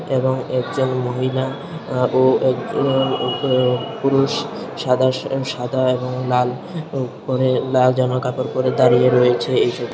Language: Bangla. এবং একজন মহিলা অ্যা ও একজন ও পুরুষ সাদা সা সাদা এবং লাল পরে লাল জামা কাপড় পরে দাঁড়িয়ে রয়েছে এইখানে।